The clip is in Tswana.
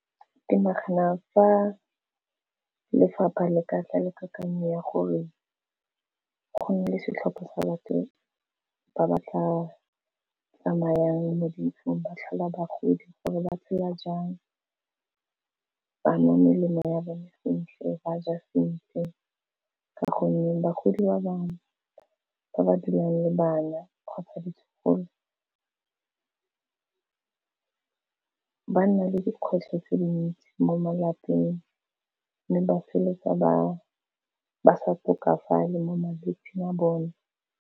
Ke nagana fa lefapha le ka tla le kakanyo ya gore go nne le setlhopha sa batho ba ba tla tsamayang mo dintlong, ba tlhola bagodi gore ba tseya jang banwa melemo ya bone sentle, ba ja sentle, ka gonne bagodi ba bangwe ba ba dulang le bana kgotsa ditlogolo ba nna le dikgwetlho tse dintsi mo malapeng, mme ba feleletsa ba sa tokafala mo malwetsing a bone.